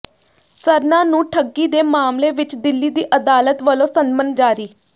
ਸਰਨਾ ਨੂੰ ਠੱਗੀ ਦੇ ਮਾਮਲੇ ਵਿਚ ਦਿੱਲੀ ਦੀ ਅਦਾਲਤ ਵਲੋਂ ਸੰਮਨ ਜਾਰੀ